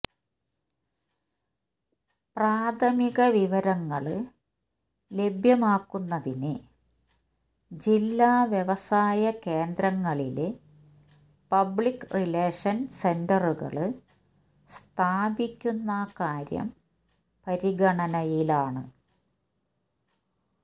പ്രാഥമിക വിവരങ്ങള് ലഭ്യമാക്കുന്നതിന് ജില്ലാ വ്യവസായ കേന്ദ്രങ്ങളില് പബ്ലിക് റിലേഷന് സെന്ററുകള് സ്ഥാപിക്കുന്ന കാര്യം പരിഗണനയിലാണ്